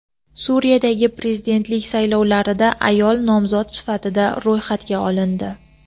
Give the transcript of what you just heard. Suriyadagi prezidentlik saylovlarida ayol nomzod sifatida ro‘yxatga olindi.